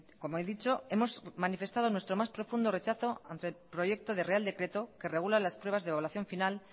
como he dicho hemos manifestado nuestro más profundo rechazo ante el proyecto de real decreto que regula las pruebas de evaluación final